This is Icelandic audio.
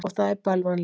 Og það er bölvanlegt.